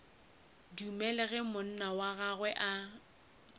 dumele ge monna wa gagwe